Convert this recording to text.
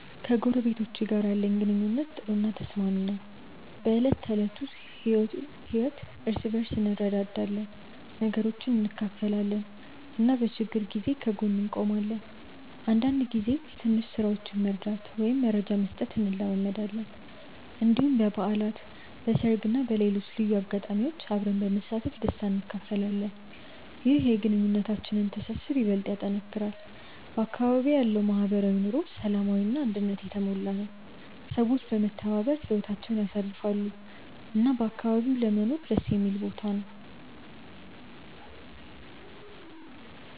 ከጎረቤቶቼ ጋር ያለኝ ግንኙነት ጥሩ እና ተስማሚ ነው። በዕለት ተዕለት ህይወት እርስ በርስ እንረዳዳለን፣ ነገሮችን እንካፈላለን እና በችግር ጊዜ ከጎን እንቆማለን። አንዳንድ ጊዜ ትንሽ ስራዎችን መርዳት ወይም መረጃ መስጠት እንለማመዳለን። እንዲሁም በበዓላት፣ በሰርግ እና በሌሎች ልዩ አጋጣሚዎች አብረን በመሳተፍ ደስታ እንካፈላለን። ይህ የግንኙነታችንን ትስስር ይበልጥ ያጠናክራል። በአካባቢዬ ያለው ማህበራዊ ኑሮ ሰላማዊ እና አንድነት የተሞላ ነው፤ ሰዎች በመተባበር ህይወታቸውን ያሳልፋሉ እና አካባቢው ለመኖር ደስ የሚል ቦታ ነው።